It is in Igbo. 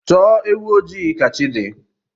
Chọọ ewu ojii ka chi dị